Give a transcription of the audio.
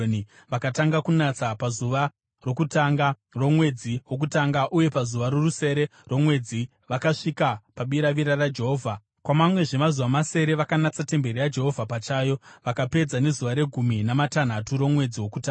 Vakatanga kunatsa pazuva rokutanga romwedzi wokutanga uye pazuva rorusere romwedzi vakasvika pabiravira raJehovha. Kwamamwezve mazuva masere vakanatsa temberi yaJehovha pachayo, vakapedza nezuva regumi namatanhatu romwedzi wokutanga.